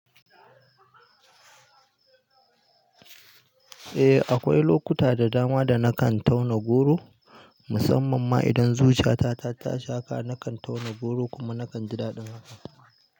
Eh, akwai lokuta da dama da na kan tauna goro. Musamman ma idan zuciya ta taka haka, na kan tauna goro kuma na kan ji daɗin haka.